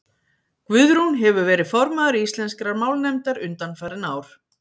guðrún hefur verið formaður íslenskrar málnefndar undanfarin ár